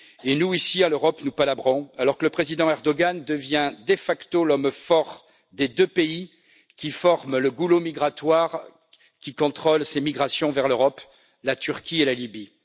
Et nous ici, en Europe, nous palabrons, alors que le président Erdoğan devient de facto l'homme fort des deux pays qui forment le goulot migratoire qui contrôle ces migrations vers l'Europe, à savoir la Turquie et la Libye.